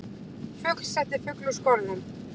Fugl setti flug úr skorðum